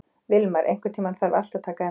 Vilmar, einhvern tímann þarf allt að taka enda.